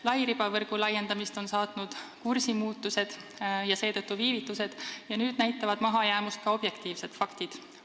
Lairibavõrgu laiendamist on saatnud kursimuutused ja seetõttu viivitused ning nüüd näitavad mahajäämust ka objektiivsed faktid.